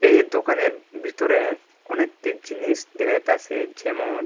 এর দোকানের ভিতরে অনেকটি জিনিস দেখা যাইতাসে যেমন--